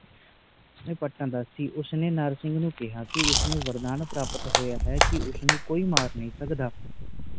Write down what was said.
ਪੱਟਾ ਦਾ ਸੀ ਉਸ ਨੇ ਨਰਸਿੰਘ ਨੂੰ ਕਿਹਾ ਕਿ ਉਸ ਨੂੰ ਵਰਦਾਨ ਪ੍ਰਾਪਤ ਹੋਇਆ ਹੈ ਕਿ ਉਸ ਨੂੰ ਕੋਈ ਮਾਰ ਨਹੀਂ ਸਕਦਾ